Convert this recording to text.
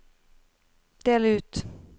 del ut